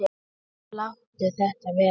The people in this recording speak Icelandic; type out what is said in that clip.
Láttu þetta vera!